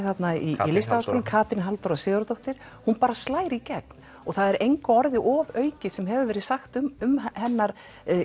þarna í Listaháskólanum Katrín Halldóra Sigurðardóttir hún bara slær í gegn og það er engu orði ofaukið sem hefur verið sagt um hennar